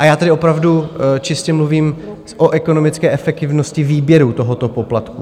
A já tady opravdu čistě mluvím o ekonomické efektivnosti výběru tohoto poplatku.